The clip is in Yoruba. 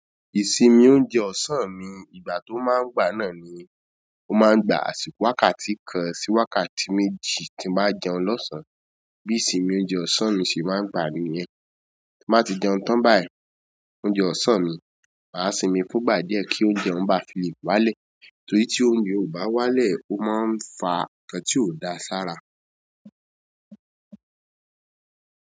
Ìsinmi óúnjẹ ọ̀sán mi, ìgbà t'ó ma ń wà náà ni, ó ma ń gba—wákàtí kan sí wákàtí méjì tí n bá jẹun lọ̀sán. Bí ìsinmi oúnjẹ ọ̀sán mi ṣe máa ń gbà níyẹn, tí n bá ti jẹun tán báyìí, óúnjẹ ọ̀sán mi, mà á sinmi fún'gbà díẹ̀ kí óúnjẹ ọ̀ún ba fi lè wá'lẹ̀, torí tí oúnjẹ ò bá wá'lẹ̀ ó máa ń fa ǹǹkan tí ò da sára.